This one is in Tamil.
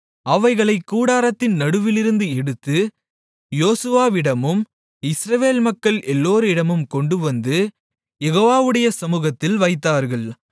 அவைகளைக் கூடாரத்தின் நடுவிலிருந்து எடுத்து யோசுவாவிடமும் இஸ்ரவேல் மக்கள் எல்லோரிடமும் கொண்டுவந்து யெகோவாவுடைய சமூகத்தில் வைத்தார்கள்